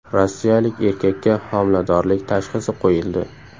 Rossiyalik erkakka homiladorlik tashxisi qo‘yildi.